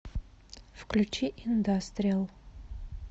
включи индастриал